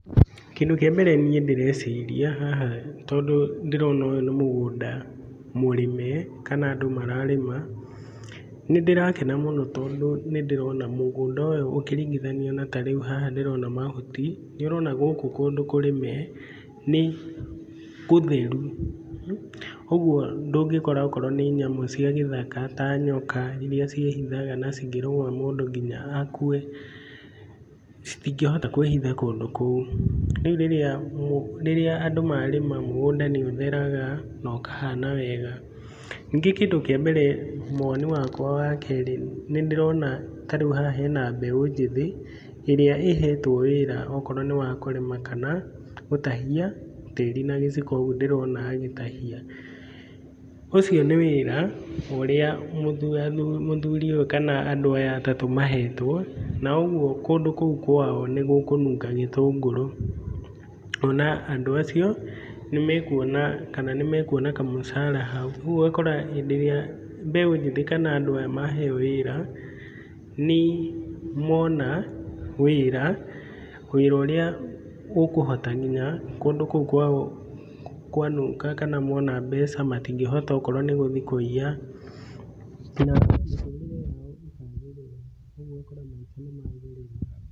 Kĩndũ kĩa mbere niĩ ndĩreciria haha tondũ ndĩrona ũyũ nĩ mũgũnda mũrĩme kana andũ mararĩma. Nĩ ndĩrakena mũno tondũ nĩ ndĩrona mũngũnda ũyũ ũkĩringithanio na ta rĩu haha ndĩrona mahuti, nĩ ũrona gũkũ kũndũ kũrĩme nĩ gũtheru. Ũguo ndũngĩkora akorwo nĩ nyamũ cia gĩthaka ta nyoka iria ciĩhithaga na cingĩrũma mũndũ nginya akue, citingĩhota kwĩhitha kũndũ kũu. Rĩu rĩrĩa rĩrĩa andũ marĩma mũgũnda nĩ ũtheraga na ũkahana wega. Ningĩ kĩndũ kĩa mbere woni wakwa wa kerĩ, nĩ ndĩrona ta rĩu haha hena mbeũ njĩthĩ, ĩrĩa ĩhetwo wĩra akorwo nĩ wa kũrĩma kana gũtahia tĩri na gĩciko ũguo ndĩrona agĩtahia. Ũcio nĩ wĩra ũrĩa mũthuri ũyũ kana andũ aya atatũ mahetwo, na ũguo kũndũ kũu kwao nĩgĩkũnunga gĩtũngũrũ. Kuona andũ acio nĩmekuona kana nĩ mekuona kamũcara hau. Rĩu ũgakora hĩndĩ ĩrĩa kana mbeũ njĩthĩ kana andũ aya maheo wĩra, nĩ mona wĩra, wĩra ũrĩa ũkũhota nginya kũndũ kũu kwao kwanunga kana mona mbeca matingĩhota okorwo nĩ gũthiĩ kũiya na mĩtũrĩre yao ĩkagĩrĩra rĩu ũgakora maica nĩ magĩrĩra.